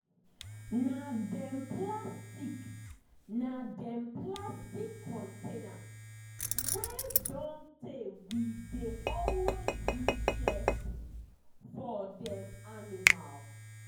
na dem plastic na dem plastic container wey don tey we dey always use share food for dem animal.